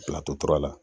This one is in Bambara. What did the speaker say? Latora la